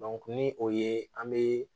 ni o ye an bɛ